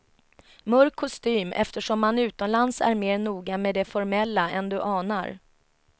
Mörk kostym eftersom man utomlands är mer noga med det formella än du anar.